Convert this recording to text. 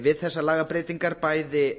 við þessar lagabreytingar bæði